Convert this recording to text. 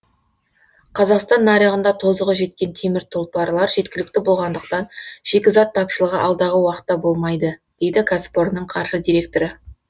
қазақстан нарығында тозығы жеткен темір тұлпарлар жеткілікті болғандықтан шикізат тапшылығы алдағы уақытта болмайды дейді кәсіпорынның қаржы директоры